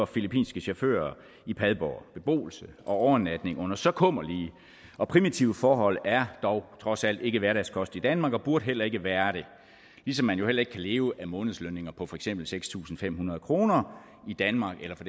filippinske chauffører i padborg beboelse og overnatning under så kummerlige og primitive forhold er dog trods alt ikke hverdagskost i danmark og burde heller ikke være det ligesom man jo heller ikke kan leve af månedslønninger på for eksempel seks tusind fem hundrede kroner i danmark eller for